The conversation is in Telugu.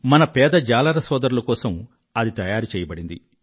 మన పేద జాలర సోదరుల కోసం అది తయారు చెయ్యబడింది